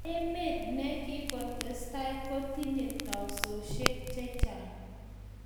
Emet ne kikotestai ko netinye teksosiek che chang